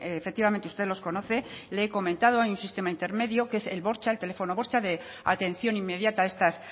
efectivamente usted los conoce le he comentado hay un sistema intermedio que es el bortxa el teléfono bortxa de atención inmediata a estas